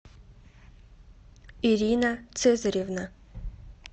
ирина цезаревна